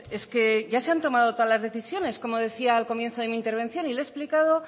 es que ya se han tomado todas las decisiones como decía al comienzo de mi intervención y le he explicado